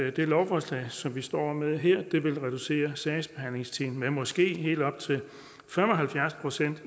at det lovforslag som vi står med her vil reducere sagsbehandlingstiden med måske helt op til fem og halvfjerds procent og